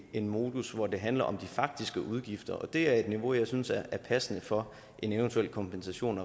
en modus hvor det handler om de faktiske udgifter og det er et niveau jeg synes er passende for en eventuel kompensation